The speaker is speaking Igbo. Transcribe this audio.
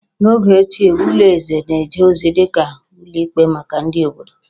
N'oge ochie, ụlọ eze na-eje ozi dị ka ụlọ ikpe maka ndị obodo